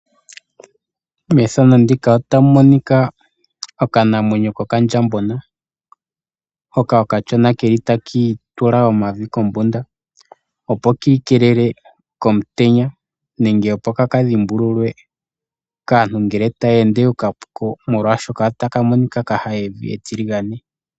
Methano ndika otamu monika okandjambona taki itula omavi kombunda